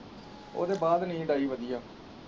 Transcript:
ਉਹਦੇ ਬਾਅਦ ਨੀਂਦ ਆਈ ਵਧੀਆ।